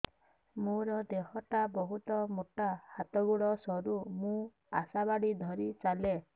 ମୋର ଦେହ ଟା ବହୁତ ମୋଟା ହାତ ଗୋଡ଼ ସରୁ ମୁ ଆଶା ବାଡ଼ି ଧରି ଚାଲେ